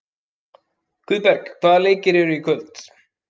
Guðberg, hvaða leikir eru í kvöld?